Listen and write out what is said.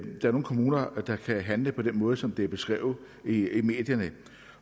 er nogle kommuner der kan handle på den måde som det er beskrevet i i medierne